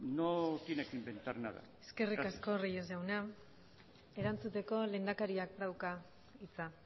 no tiene que inventar nada eskerrik asko reyes jauna erantzuteko lehendakariak dauka hitza